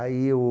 Aí o...